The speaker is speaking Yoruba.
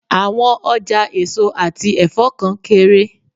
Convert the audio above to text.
Àwọn ọjà èso àti ẹ̀fọ́ kan kéré.